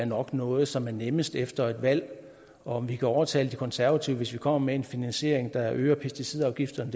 nok noget som er nemmest efter et valg om vi kan overtale de konservative hvis vi kommer med en finansiering der øger pesticidafgifterne